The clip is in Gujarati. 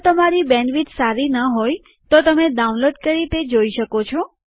જો તમારી બેન્ડવિડ્થ સારી ન હોય તો તમે ડાઉનલોડ કરી તે જોઈ શકો છો